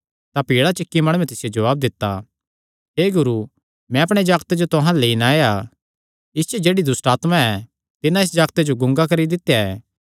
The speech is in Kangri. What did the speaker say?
तां भीड़ा च इक्की माणुयैं तिसियो जवाब दित्ता हे गुरू मैं अपणे जागते जो तुहां अल्ल लेई नैं आया इस च जेह्ड़ी दुष्टआत्मा ऐ तिन्नै इस जागते जो गूंगा करी दित्या ऐ